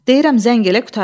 Deyirəm zəng elə qurtardı.